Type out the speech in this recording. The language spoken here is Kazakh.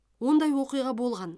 ондай оқиға болған